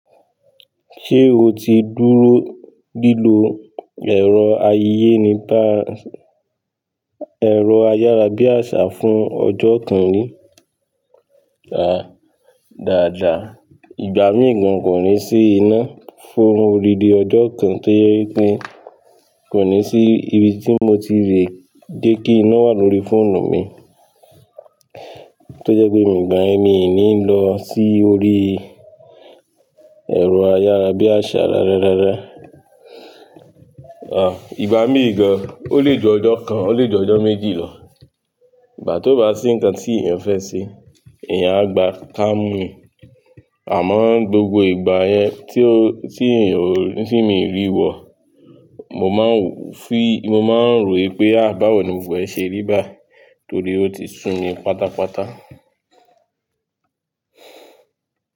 Ṣé o ti dúró lílo ẹ̀rọ ayé níba ẹ̀rọ ayárabíàṣá fún ọjọ́ kan rí? Rárá, dàda. Ìgbà míì gan kò ní sí iná fún odidi ọjọ́ kan tó jẹ́ wípé kò ní sí ibi tí mo ti rí dè kí iná wà lórí fóònù mi. Tí ójẹ́ pé ní gbogbo ìgbà yẹn, mi ò níí lọ síí orí ẹ̀rọ ayárabíàṣá rárá rárá, ìgbà mìràn gan ó lè jẹ́ ọjọ́ kan ólè ju ọjọ́ méjì lọ. Ìgbà tí oo bá síí nǹkan tí ènìyàn fẹ́ ṣe ènìyàn agba kamu níí, àmọ́ níí gbogbo ìgbà yẹn tí mi kò ríí wò, mo má ń rò wípé, báwo ni gbogbo rẹ̀ṣe ríí báyìí, nítorí wípé óti súmi.